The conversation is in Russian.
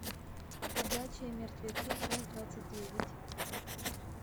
ходячие мертвецы часть двадцать девять